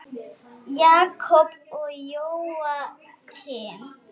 Jakob og Jóakim.